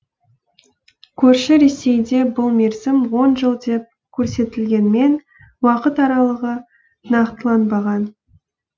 көрші ресейде бұл мерзім он жыл деп көрсетілгенмен уақыт аралығы нақтыланбаған